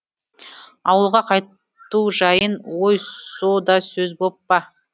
ауылға қайту жайын өй со да сөз боп па